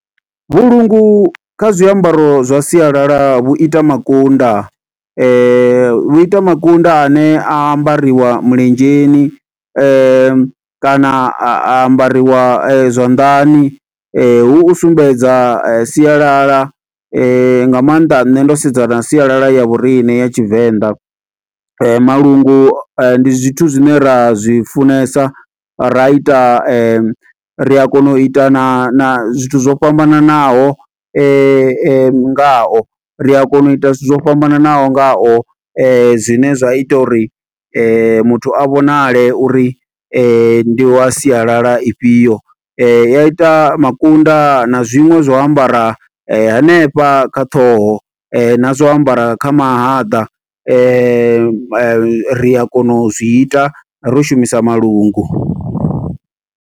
Vhulungu kha zwiambaro zwa sialala, vhu ita makunda . Vhu ita makunda a ne a ambariwa milenzheni, kana a ambariwa zwanḓani . Hu u sumbedza sialala nga maanḓa nne ndo sedzana na sialala ya vhoriṋe ya Tshivenḓa. Malungu ndi zwithu zwine ra zwi funesa, ra ita ri a kona u ita na zwithu zwo fhambananaho nga o. Ri a kona u ita zwithu zwo fhambananaho nga o, zwine zwa ita uri muthu a vhonale uri ndi wa sialala ifhio. I ya ita makunda na zwiṅwe zwa u ambara hanefha kha ṱhoho, na zwa u ambara kha mahaḓa . Ri a kona u zwi ita ro shumisa malungu.